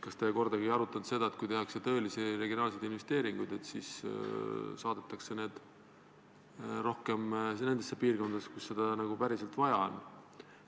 Kas te kordagi ei arutanud seda, et kui tehakse tõelisi regionaalseid investeeringuid, siis tuleb teha neid rohkem nendes piirkondades, kus seda päriselt vaja on?